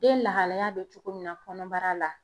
Den lahalaya bɛ cogo min na kɔnɔbara la.